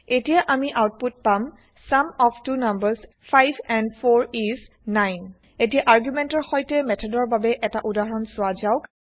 এতিয়া আমি আউতপুত পাম sum of two numbers 5 and 4 is 9 এতিয়া আৰ্গুমেন্টৰ সৈতে মেথডৰ বাবে এটা উদাহৰণ চোৱা যাওঁক